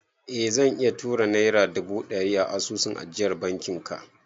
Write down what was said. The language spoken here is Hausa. Eh zan iya tura naira dubu ɗari a asusun ajiya na bankin ka